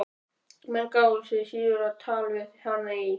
Menn gáfu sig síður á tal við hana í